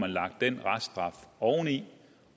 lagt den reststraf oveni